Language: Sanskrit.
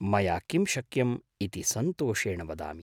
मया किं शक्यम् इति सन्तोषेण वदामि।